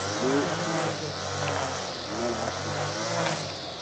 Salo n zaya ŋɔ ka di nyɛla bi gbiri la salima